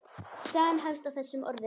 Sagan hefst á þessum orðum